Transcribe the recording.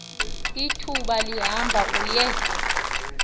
ithuba lihamba uye